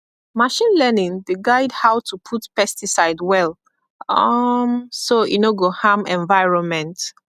machine learning dey guide how to put pesticide well um so e no go harm environment